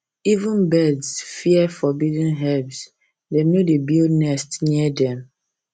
even birds fear forbidden herbs dem no dey build nest near dem